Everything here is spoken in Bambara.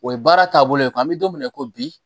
O ye baara taabolo ye ko an bɛ don min na i ko bi